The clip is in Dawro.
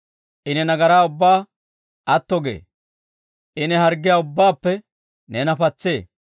I ne nagaraa ubbaa atto gee; I ne harggiyaa ubbaappe neena patsee.